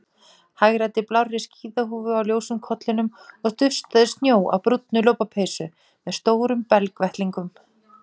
Hagræddi blárri skíðahúfu á ljósum kollinum og dustaði snjó af brúnni lopapeysu með stórum belgvettlingum.